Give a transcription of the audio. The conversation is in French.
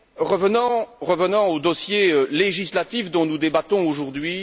Revenons au dossier législatif dont nous débattons aujourd'hui.